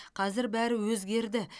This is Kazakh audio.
қазір бәрі өзгерді